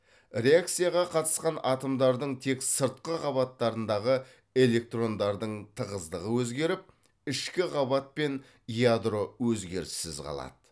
реакцияға қатысқан атомдардың тек сыртқы қабаттарындағы электрондардың тығыздығы өзгеріп ішкі қабат пен ядро өзгеріссіз қалады